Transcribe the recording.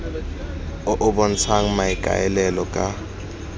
o o bontshang maikaelelo ka